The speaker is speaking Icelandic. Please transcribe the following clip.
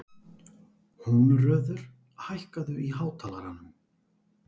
Húnröður, hækkaðu í hátalaranum.